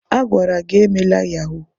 A gwara gi emela yahuu!